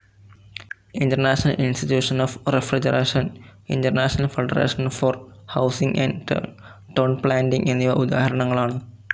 International institution of refrigeration, international federation for housing and town planning എന്നിവ ഉദാഹരണങ്ങളാണ്.